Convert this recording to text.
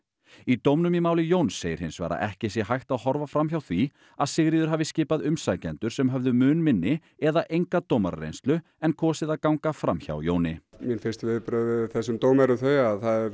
í dómnum í máli Jóns segir hins vegar að ekki sé hægt að horfa fram hjá því að Sigríður hafi skipað umsækjendur sem höfðu mun minni eða enga dómarareynslu en kosið að ganga fram hjá Jóni mín fyrstu viðbrögð við þessum dómi eru þau að það